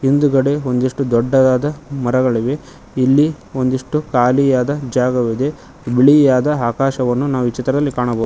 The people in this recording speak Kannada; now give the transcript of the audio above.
ಮುಂದುಗಡೆ ಒಂದಿಷ್ಟು ದೊಡ್ಡದಾದ ಮರಗಳಿವೆ ಇಲ್ಲಿ ಒಂದಿಷ್ಟು ಖಾಲಿಯಾದ ಜಾಗವಿದೆ ಬಿಳಿಯಾದ ಆಕಾಶವನ್ನು ನಾವು ಈ ಚಿತ್ರದಲ್ಲಿ ಕಾಣಬ --